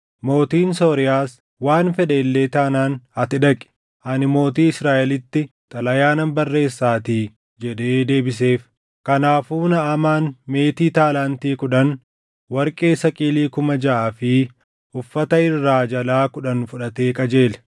Mootiin Sooriyaas, “Waan fedhe illee taanaan ati dhaqi; ani mootii Israaʼelitti xalayaa nan barreessaatii” jedhee deebiseef. Kanaafuu Naʼamaan meetii taalaantii kudhan, warqee saqilii kuma jaʼaa fi uffata irraa jalaa kudhan fudhatee qajeele.